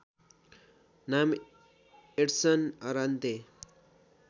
नाम Edson Arantes